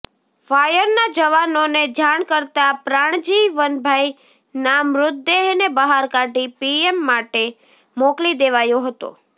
ફાયરના જવાનોને જાણ કરતા પ્રાણજીવનભાઈના મૃતદેહને બહાર કાઢી પીએમ માટે મોકલી દેવાયો હતો